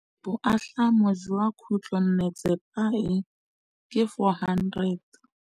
Boatlhamô jwa khutlonnetsepa e, ke 400.